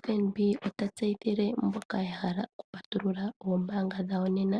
FNB ota tseyithile mboka ya hala oku patulula ombaanga dhawo nena